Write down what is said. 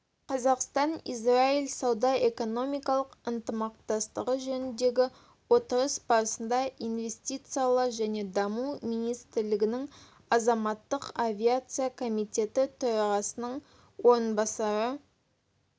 қазақстан-израиль сауда-экономикалық ынтымақтастығы жөніндегі отырыс барысында инвестициялар және даму министрлігінің азаматтық авиация комитеті төрағасының орынбасары